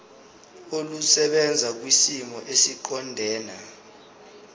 olusebenza kwisimo esiqondena